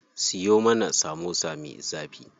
Siyo mana samosa me zafi.